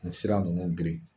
Nin sira munnu girin.